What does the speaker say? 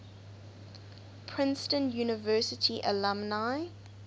princeton university alumni